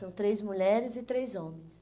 São três mulheres e três homens.